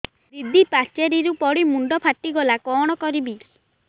ଦିଦି ପାଚେରୀରୁ ପଡି ମୁଣ୍ଡ ଫାଟିଗଲା କଣ କରିବି